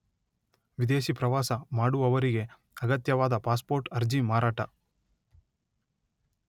ವಿದೇಶಿ ಪ್ರವಾಸ ಮಾಡುವವರಿಗೆ ಅಗತ್ಯವಾದ ಪಾಸ್ಪೋರ್ಟ್ ಅರ್ಜಿ ಮಾರಾಟ